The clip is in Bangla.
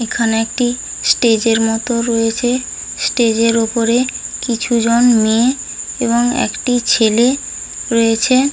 এখানে একটি স্টেজ এর মত রয়েছে স্টেজ এর উপরে কিছু জন মেয়ে এবং একটি ছেলে রয়েছে।